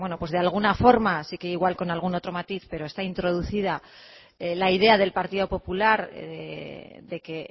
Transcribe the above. de alguna forma sí que igual con algún otro matiz pero está introducida la idea del partido popular de que